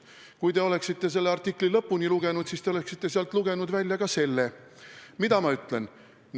Kui te oleksite selle artikli lõpuni lugenud, siis oleksite sealt välja lugenud ka selle, mida ma tegelikult ütlesin.